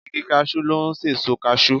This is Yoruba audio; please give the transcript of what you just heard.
Igi kasú ló n sèso kasú